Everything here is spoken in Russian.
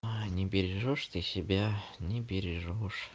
а не бережёшь ты себя не бережёшь